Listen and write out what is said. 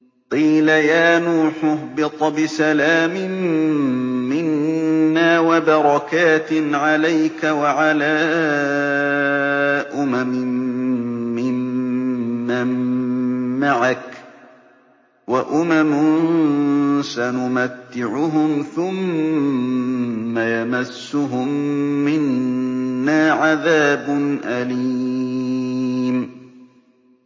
قِيلَ يَا نُوحُ اهْبِطْ بِسَلَامٍ مِّنَّا وَبَرَكَاتٍ عَلَيْكَ وَعَلَىٰ أُمَمٍ مِّمَّن مَّعَكَ ۚ وَأُمَمٌ سَنُمَتِّعُهُمْ ثُمَّ يَمَسُّهُم مِّنَّا عَذَابٌ أَلِيمٌ